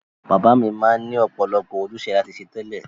Bàbá mi ma n ni ọ̀pọ̀lọpọ̀ ojúse láti se tẹ́lẹ̀